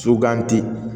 Suganti